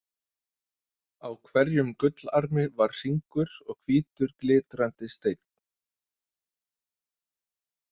Á hverjum gullarmi var hringur og hvítur glitrandi steinn.